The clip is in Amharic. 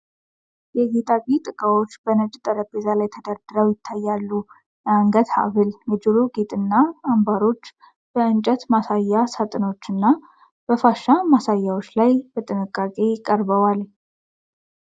የጌጣጌጥ ዕቃዎች በነጭ ጠረጴዛ ላይ ተደርድረው ይታያሉ። የአንገት ሐብል፣ የጆሮ ጌጥና አምባሮች በእንጨት ማሳያ ሳጥኖች እና በፋሻ ማሳያዎች ላይ በጥንቃቄ ቀርበዋል።